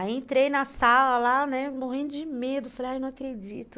Aí entrei na sala lá, né, morrendo de medo, falei, ai, não acredito.